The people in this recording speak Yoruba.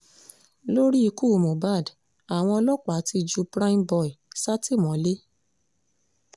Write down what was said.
lórí ikú mohbad àwọn ọlọ́pàá ti ju prime boy sátìmọ́lé o